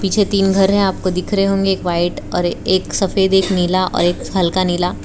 पीछे तीन घर है आपको दिख रहे होंगे एक व्हाइट और एक सफेद एक नीला और एक हल्का नीला।